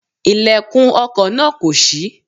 Ilẹ̀kùn ọkò náà kò ṣí